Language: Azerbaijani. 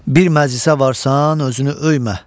Bir məclisə varsan, özünü öymə.